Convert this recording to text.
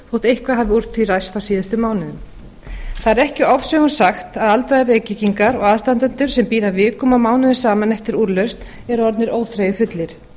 eitthvað hafi úr því ræst á síðustu mánuðum það er ekki ofsögum sagt að aldraðir reykvíkingar og aðstandendur sem bíða vikum og mánuðum saman eftir úrlausn eru orðnir óþreyjufullir